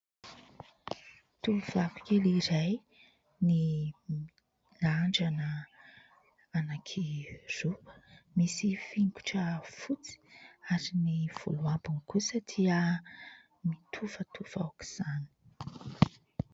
Tovovavy kely iray, mirandrana anankiroa, misy fingotra fotsy ary ny volony ambiny kosa dia mitofatofa aoka izany.